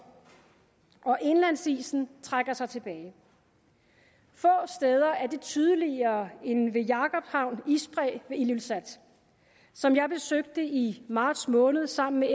og indlandsisen trækker sig tilbage få steder er det tydeligere end ved jakobshavn isbræ ved ilulissat som jeg besøgte i marts måned sammen med